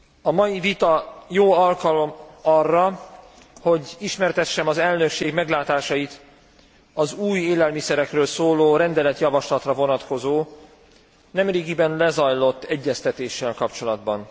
A mai vita jó alkalom arra, hogy ismertessem az elnökség meglátásait az új élelmiszerekről szóló rendeletjavaslatra vonatkozó nemrégiben lezajlott egyeztetéssel kapcsolatban.